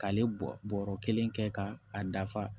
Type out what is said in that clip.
K'ale bɔ bɔrɔ kelen kɛ ka a dafa